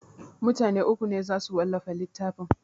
Mutane uku ne za su wallafa littafin